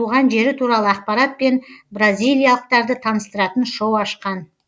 туған жері туралы ақпаратпен бразилиялықтарды таныстыратын шоу ашқан